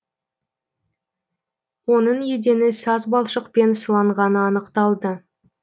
оның едені саз балшықпен сыланғаны анықталды